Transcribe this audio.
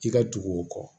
I ka dugu o kɔ